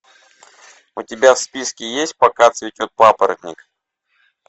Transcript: у тебя в списке есть пока цветет папоротник